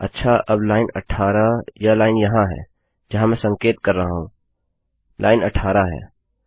अच्छा अब लाइन 18 यह लाइन यहाँ है जहाँ मैं संकेत कर रहा हूँ लाइन 18 है